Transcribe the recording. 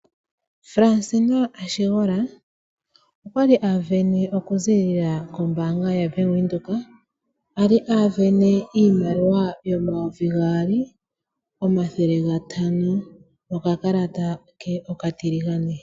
Fransina Ashingola okwali asindana okuzilila kombaanga yaWindhoek. Moka ali asindana iimaliwa oondola 2500 nokakalata ke okatiligane.